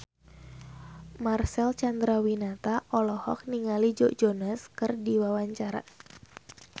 Marcel Chandrawinata olohok ningali Joe Jonas keur diwawancara